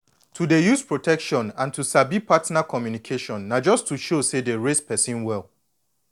to dey use protection and to sabi partner communication na just to show say dey raise person well